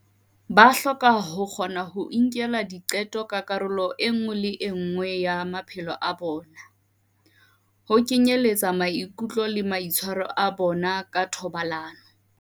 Ba hloka ho kgona ho inkela diqeto ka karolo e nngwe le e nngwe ya maphelo a bona, ho kenyeletsa maikutlo le maitshwaro a bona ka thobalano.